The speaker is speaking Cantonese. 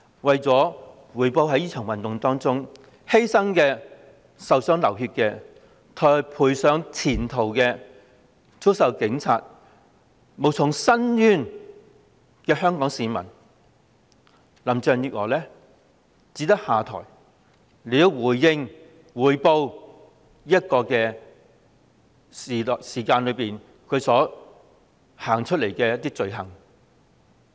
對於在這場運動中犧性、受傷流血、賠上前途、遭受警暴而無從申冤的香港市民，林鄭月娥只有下台才能補償她在這段日子所犯的罪行。